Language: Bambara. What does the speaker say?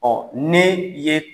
Ɔ ne ye